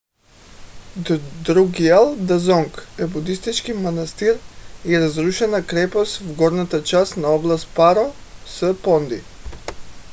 друкгиал дзонг е будистки манастир и разрушена крепост в горната част на област паро с. понди